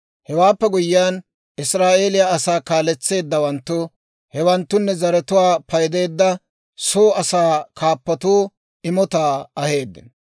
Hewaappe guyyiyaan, Israa'eeliyaa asaa kaaletseeddawanttu, hewanttunne zaratuwaa paydeedda soo asaa kaappotuu imotaa aheeddino.